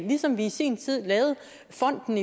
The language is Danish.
ligesom vi i sin tid lavede fonden